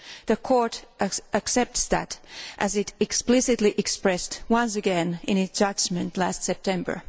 The Court accepts that, as it explicitly expressed once again in its judgment last September.